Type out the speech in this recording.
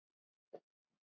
Betri eru fá en grá?